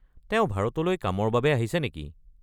তেওঁ ভাৰতলৈ কামৰ বাবে আহিছে নেকি?